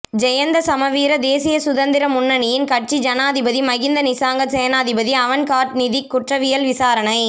ஜயந்த சமரவீர தேசிய சுதந்திர முன்னணியின் கட்சி ஜனாதிபதி மஹிந்த நிசாங்க சேனாதிபதி அவன்ட் கார்ட் நிதிக் குற்றவியல் விசாரணை